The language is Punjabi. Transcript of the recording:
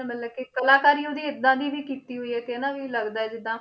ਮਤਲਬ ਕਿ ਕਲਾਕਾਰੀ ਉਹਦੀ ਏਦਾਂ ਦੀ ਵੀ ਕੀਤੀ ਹੋਈ ਹੈ ਕਿ ਹਨਾ ਵੀ ਲੱਗਦਾ ਹੈ ਜਿੱਦਾਂ